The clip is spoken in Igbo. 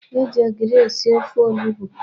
E ji ogiri esi ofe onugbu.